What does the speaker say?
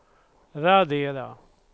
radera